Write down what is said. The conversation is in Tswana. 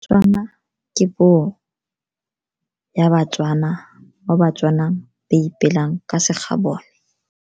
Tswana ke puo ya baTswana mo baTswana ba ipelang ka se gabone.